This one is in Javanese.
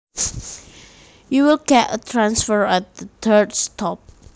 You will get a transfer at the third stop